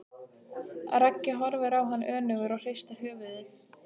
Raggi horfir á hann önugur og hristir höfuðið.